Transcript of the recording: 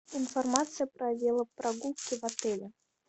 информация про велопрогулки в отеле